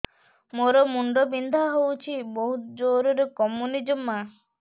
ମୋର ମୁଣ୍ଡ ବିନ୍ଧା ହଉଛି ବହୁତ ଜୋରରେ କମୁନି ଜମା